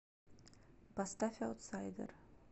поставь аутсайдер